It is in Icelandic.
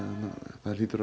það hlýtur að